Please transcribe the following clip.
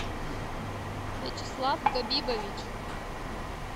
вячеслав габибович